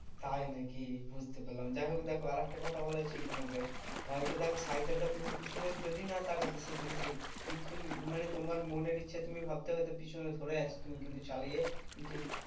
তাই নাকি? বুঝতে পেলাম। যাইহোক দেখো আরেকটা কথা বলার ছিল তোমাকে, হয়তো দেখো সাইকেলটা পেছনে যদি না তাকাতে সেদিন সেই কিন্তু তুমি মানে তোমার মনের ইচ্ছা তুমি ভাবতে পারছো পিছনে ধরে আছে তুমি কিন্তু চালিয়ে কিন্তু